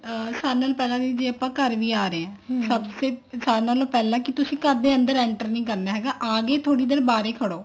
ਸਾਰੇ ਨਾਲੋਂ ਪਹਿਲਾਂ ਆਪਾਂ ਦੀਦੀ ਘਰ ਆ ਰਹੇ ਹਾਂ ਸਭ ਸੇ ਸਾਰੇ ਨਾਲੋ ਪਹਿਲਾਂ ਕੀ ਤੁਸੀਂ ਘਰ ਦੇ ਅੰਦਰ enter ਨੀ ਕਰਨਾ ਹੈਗਾ ਆਗੇ ਥੋੜੀ ਦੇਰ ਬਾਹਰ ਹੀ ਖੜੋ